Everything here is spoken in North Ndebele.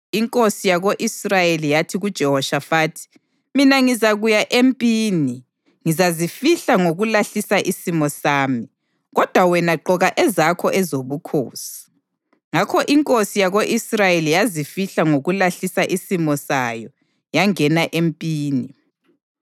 Inkosi yako-Israyeli yathi kuJehoshafathi: “Mina ngizakuya empini ngizazifihla ngokulahlisa isimo sami, kodwa wena gqoka ezakho ezobukhosi.” Ngakho inkosi yako-Israyeli yazifihla ngokulahlisa isimo sayo yangena empini.